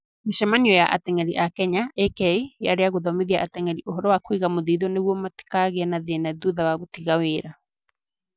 Mĩcemanio ya ateng'eri a Kenya (AK) yarĩ ya kũthomithia ateng'eri ũhoro wa kũiga mũthiithũ nĩguo matikagĩe thĩĩna thutha wa gũtiga wĩra.